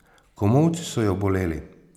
Komolci so jo boleli.